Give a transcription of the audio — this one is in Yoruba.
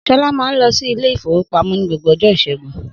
Sọlá máa ń lọ sí Ilé-ìfowópamó ní gbogbo ọjọ́ ìṣẹ́gun.